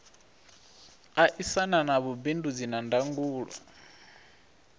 aisana na vhubindudzi na ndangulo